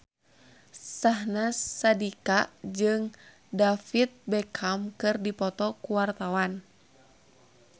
Syahnaz Sadiqah jeung David Beckham keur dipoto ku wartawan